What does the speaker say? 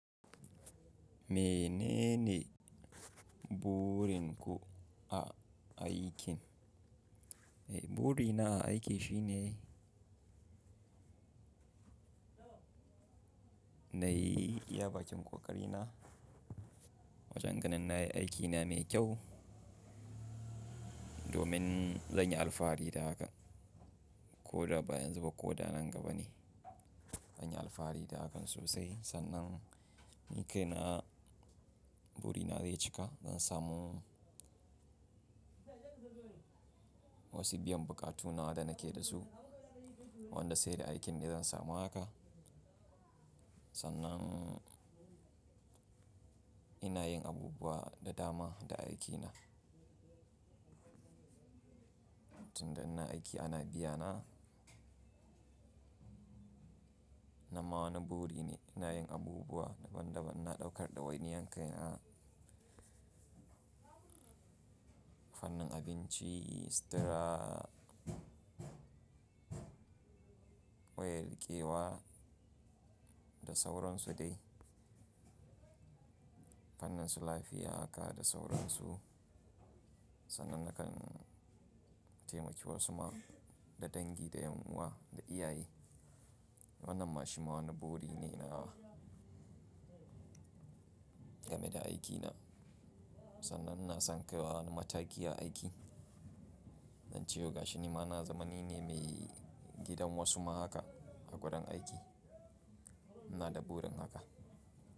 Menene burin ku a, a aikin? Eh, burina a aiki shine na yi iya bakin ƙoƙari na wajen ganin na yi aikina mai kyau domin zan yi alfahari da haka ko da baya yanzu ba ko da nan gaba ne. Zan yi alfahari da hakan sosai sannan ni ka ina burina zai cika. Zan samu wasu biyan buƙatu nawa da na ke da su wanda sai da aikin da zan samu haka. Sannan ina yin abubuwa da dama da aikina. Tun da ina aiki ana biyana na ma wani buri ne. Ina yin abubuwa daban-daban. Na ɗaukar ɗawainiya kai na fannin abinci, sutura, wayar riƙewa da sauransu dai. Fannin su lafiya haka da sauransu. Sannan na kan taimaki wasu ma da dangi, da yunwa, da iyaye. Wannan ma shi ma wani buri ne ina game da aikina. Sannan ina san kaiwa wani mataki a aiki. Ace yau gashi nima na zamani ne mai gidan wasu ma haka a gadon aiki. Ina da burin haka.